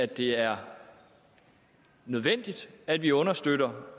det er nødvendigt at vi understøtter